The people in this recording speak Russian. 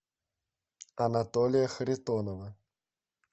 анатолия харитонова